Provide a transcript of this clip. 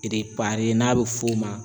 n'a be f'o ma